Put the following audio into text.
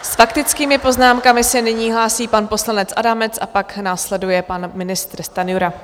S faktickými poznámkami se nyní hlásí pan poslanec Adamec a pak následuje pan ministr Stanjura.